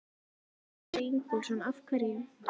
Sigurður Ingólfsson: Af hverju?